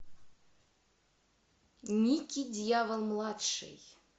ники дьявол младший